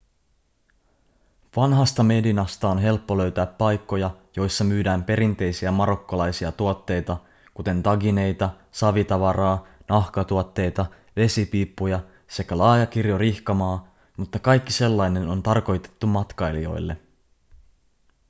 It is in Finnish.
vanhasta medinasta on helppo löytää paikkoja joissa myydään perinteisiä marokkolaisia tuotteita kuten tagineita savitavaraa nahkatuotteita vesipiippuja sekä laaja kirjo rihkamaa mutta kaikki sellainen on tarkoitettu matkailijoille